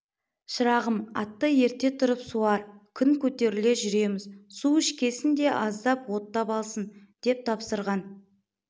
шырағым атты ерте тұрып суар күн көтеріле жүреміз су ішкесін де аздап оттап алсын деп тапсырған